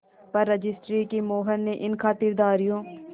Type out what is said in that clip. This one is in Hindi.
पर रजिस्ट्री की मोहर ने इन खातिरदारियों